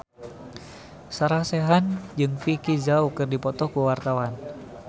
Sarah Sechan jeung Vicki Zao keur dipoto ku wartawan